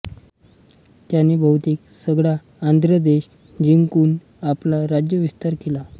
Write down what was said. त्याने बहुतेक सगळा आंध्रदेश जिंकून आपला राज्यविस्तार केला